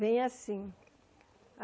Vem assim.